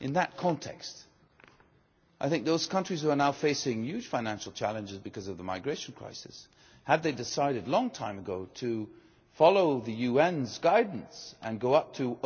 In that context I think those countries which are now facing huge financial challenges because of the migration crisis, had they decided a long time ago to follow the UN's guidance and go up to